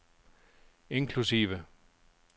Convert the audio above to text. inklusive